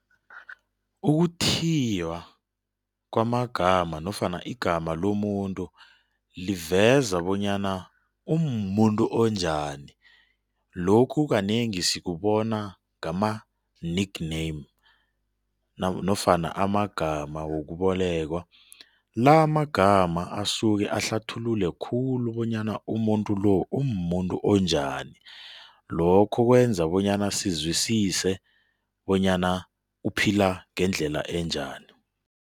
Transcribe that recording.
Ukuthiywa kwamagama nofana igama lomuntu liveza bonyana umumuntu onjani. Lokhu kanengi sikubona ngama-nickname nofana amagama wokubolekwa. La amagama asuke ahlathulule khulu bonyana umuntu lo umumuntu onjani, lokho kwenza bonyana sizwisise bonyana uphila ngendlela enjani.